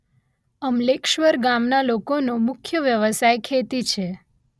અમલેશ્વર ગામના લોકોનો મુખ્ય વ્યવસાય ખેતી છે